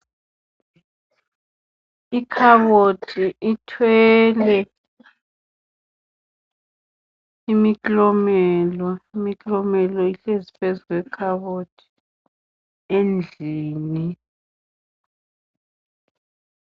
Ikhabothi ithwele imiklomela. Imiklomela ihlezi phezu kwekhabothi endlini